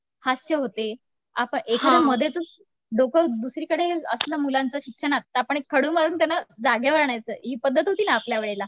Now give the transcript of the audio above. हास्य होते आता एकाने मध्येचंच दुसरीकडे असलं मुलांचं शिक्षणात तर आपण एक खडू लावून त्यांना जागेवर आणायचं आहे ही पद्धत होती ना आपल्या वेळेला